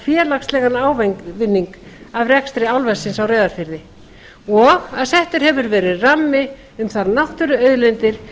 félagslegan ávinning af rekstri álversins á reyðarfirði og settur hefur verið rammi um þær náttúruauðlindir sem